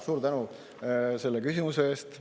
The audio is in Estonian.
Suur tänu selle küsimuse eest!